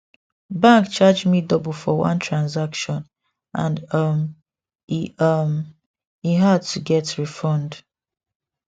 bank charge me double for one transaction and um e um e hard to get refund